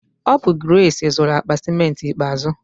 Ọ bụ Grace zụru akpa ciment ikpeazụ.